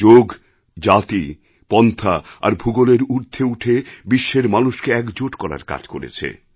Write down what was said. যোগ জাতি পন্থা আর ভূগোলের ঊর্ধ্বে উঠে বিশ্বের মানুষকে একজোট করার কাজ করেছে